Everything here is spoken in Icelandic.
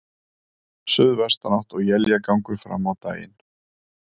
Suðvestanátt og éljagangur fram á daginn